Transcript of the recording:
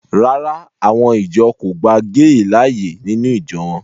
Rárá, àwọn ìjọ kò gba géè láàyè nínú ìjọ wọn